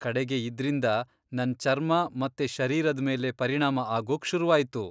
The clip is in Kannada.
ಕಡೆಗೆ ಇದ್ರಿಂದ ನನ್ ಚರ್ಮ ಮತ್ತೆ ಶರೀರದ್ ಮೇಲೆ ಪರಿಣಾಮ ಆಗೋಕ್ ಶುರುವಾಯ್ತು.